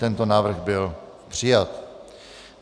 Tento návrh byl přijat.